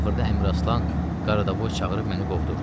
Axırda Əmraslan Qaradavoy çağırıb məni qovdurdu.